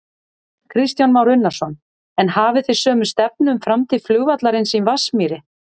Kristján Már Unnarsson: En hafið þið sömu stefnu um framtíð flugvallarins í Vatnsmýri?